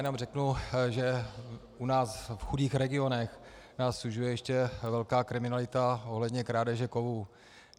Jenom řeknu, že u nás v chudých regionech nás sužuje ještě velká kriminalita ohledně krádeže kovů.